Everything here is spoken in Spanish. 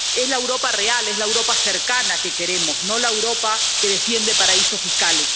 Es la Europa real, es la Europa cercana que queremos, no la Europa que defiende paraísos fiscales.